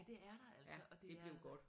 Ja det er der altså og det er